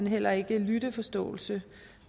heller ikke lytteforståelse